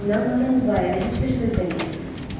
Məndən izin almadan bu barədə heç bir söz deməyəsiz.